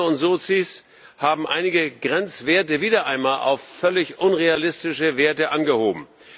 Grüne und Sozis haben einige Grenzwerte wieder einmal auf völlig unrealistische Werte angehoben.